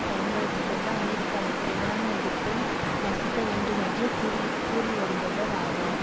பயன்படுத்தி கொண்டு அமெரிக்காவிற்கு எதிரான எதிர்ப்பை நசுக்க வேண்டும் என்று கூறிகூறிவருபவர் ஆவர்